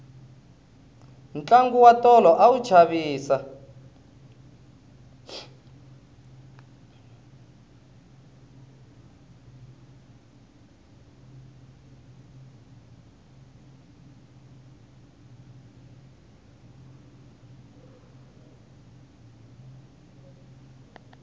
tlangu wa tolo a wu chavisa